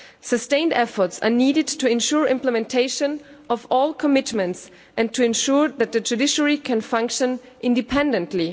Sustained efforts are needed to ensure implementation of all commitments and to ensure that the judiciary can function independently.